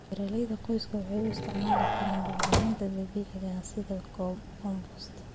Beeralayda qoysku waxay u isticmaali karaan bacriminta dabiiciga ah sida compost.